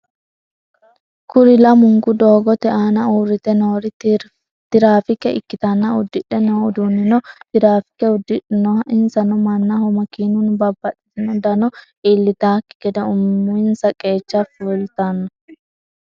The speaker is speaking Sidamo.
Kuri lamunku doogote aana uurrite noori tirafike ikkitanna udidhe no uduunnino tirafike udidhinnoho. insano mannaho makinunni babaxitinno dano iillitakki gede uminsa qeecha fulttanno.